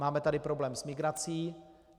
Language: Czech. Máme tady problém s migrací.